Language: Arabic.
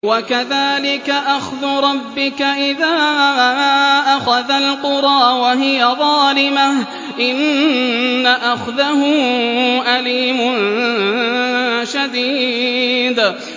وَكَذَٰلِكَ أَخْذُ رَبِّكَ إِذَا أَخَذَ الْقُرَىٰ وَهِيَ ظَالِمَةٌ ۚ إِنَّ أَخْذَهُ أَلِيمٌ شَدِيدٌ